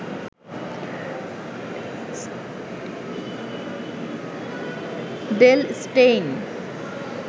Dale Steyn